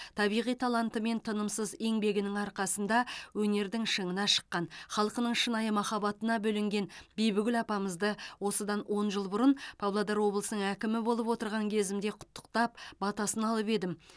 табиғи таланты мен тынымсыз еңбегінің арқасында өнердің шыңына шыққан халқының шынайы махаббатына бөленген бибігүл апамызды осыдан он жыл бұрын павлодар облысының әкімі болып отырған кезімде құттықтап батасын алып едім